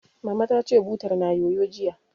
Mama ta ce, butar na yoyo, jiya